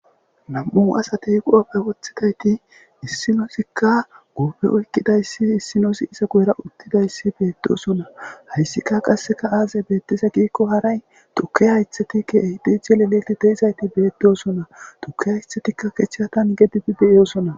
Nam'u asatey qooppe woththidayti issinosikka guupe oykkidayssi issinosi iza goyra uttidayssi beettosona hayssika qasseka aazey beettiza giikko haray tuke haythatikke ehidice leleti teizayti beettosona tuke haythatikka kechatan gedidi beyiyosona.